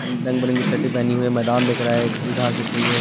अं रंग-बिरंगी र्शटे पेहनी हुई है मैदान दिख रहा है हरी घास दिख रही है।